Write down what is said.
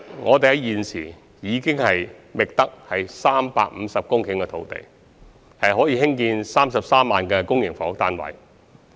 我們現時已覓得350公頃土地，可興建33萬個公營房屋單位。